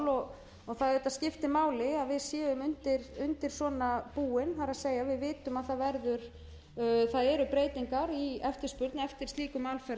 og það skiptir auðvitað máli að við séum undir svona búin það er að við vitum að það eru breytingar í eftirspurn eftir slíkum alferðum og